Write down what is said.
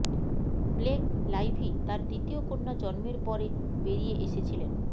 Blake Lively তার দ্বিতীয় কন্যা জন্মের পরে বেরিয়ে এসেছিলেন